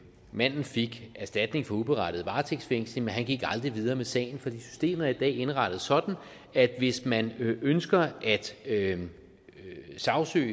manden fik erstatning for uberettiget varetægtsfængsling men han gik aldrig videre med sagen for systemet er i dag indrettet sådan at hvis man ønsker at sagsøge